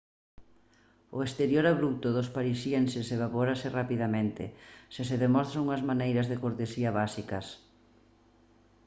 o exterior abrupto dos parisienses evaporarase rapidamente se se demostran unhas maneiras de cortesía básicas